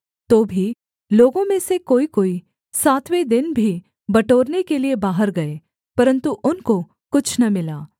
तो भी लोगों में से कोईकोई सातवें दिन भी बटोरने के लिये बाहर गए परन्तु उनको कुछ न मिला